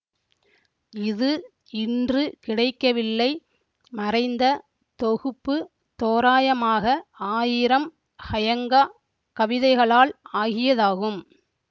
இது இன்று கிடைக்கவில்லை மறைந்த தொகுப்பு தோராயமாக ஆயிரம் ஃஅயங்கா கவிதைகளால் ஆகியதாகும்